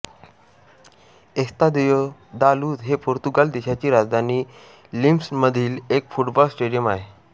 Estadio da Luz हे Portugal देशाची राजधानी लिस्बनमधील एक फुटबॉल स्टेडियम आहे